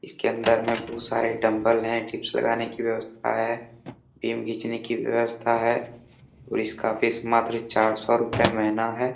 इसके अंदर में बहुत सारे डंबल हैं डिप्स लगाने की व्यवस्था है टीम घीचने की व्यवस्था है और इसका फीस मात्र चार सौ रुपया महीना है।